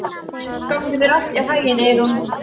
Gangi þér allt í haginn, Eyrún.